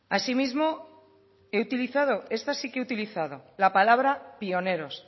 así mismo he utilizado esta sí que he utilizado la palabra pioneros